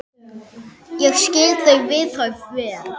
Gefum vonina aldrei frá okkur.